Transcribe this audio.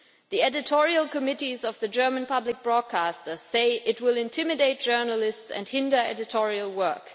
The editorial committees of the German public broadcasters say that it will intimidate journalists and hinder editorial work.